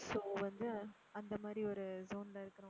so வந்து அந்த மாதிரி ஒரு tone ல இருக்கணும்.